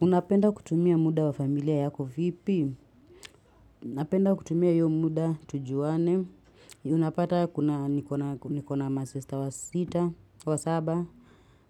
Unapenda kutumia muda wa familia yako vipi. Napenda kutumia hiyo muda tujuane. Unapata nikona masesta wa sita, wa saba.